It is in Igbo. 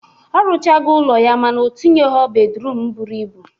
Ọ rụchago ụlọ ya mana o tinyegho bedruum buru ibu.